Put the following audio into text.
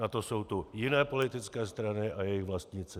Na to jsou tu jiné politické strany a jejich vlastníci.